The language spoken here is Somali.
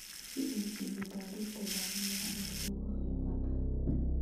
Si ay cilmi-baadhista gacan macno leh uga qayb-qaataan.